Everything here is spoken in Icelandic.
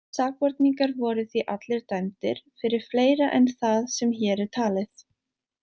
Sakborningar voru því allir dæmdir fyrir fleira en það sem hér er talið.